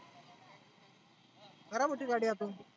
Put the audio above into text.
खराब होती गाडी आतून.